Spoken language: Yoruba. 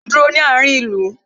Mo ń dúró ní àárín ìlú